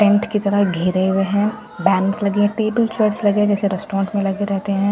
Tent की तरह घेरे हुए है बैंड्स लगे हैं टेबल चेयर्स लगे हुए हैं जैसे रेस्टोरेंट में लगे रहते हैं।